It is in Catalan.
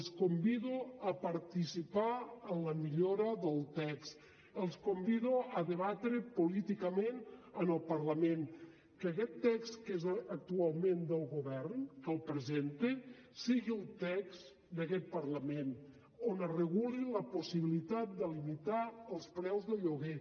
els convido a participar en la millora del text els convido a debatre políticament en el parlament que aquest text que és actualment del govern que el presenta sigui el text d’aquest parlament on es reguli la possibilitat de limitar els preus del lloguer